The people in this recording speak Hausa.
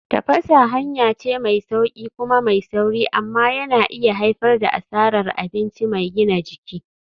Tafasa hanya ce mai sauƙi kuma mai sauri amma yana iya haifar da asarar abinci mai gina jiki.